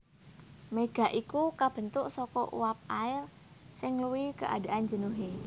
Méga iku kabèntuk saka uap air sing ngluwihi keadaan jenuhé